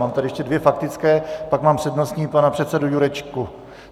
Mám tady ještě dvě faktické, pak mám přednostní pana předsedu Jurečku.